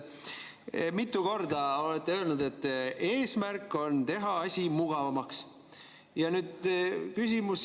Mitu korda olete öelnud, et eesmärk on teha asi mugavamaks.